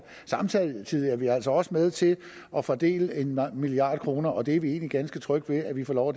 vi altså også med til at fordele en milliard kr og det er vi egentlig ganske trygge ved at vi får lov